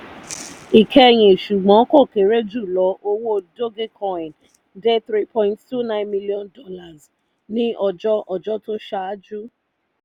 ìkẹyìn ṣùgbọ́n kò kéré jùlọ owó dodgecoin dé three point two nine million dollars ní ọjọ́ ọjọ́ tó ṣáájú.